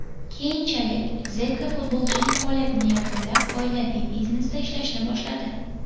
Keyinchalik Zeka futbolchilik faoliyatini yakunlab, oilaviy biznesda ishlashni boshladi.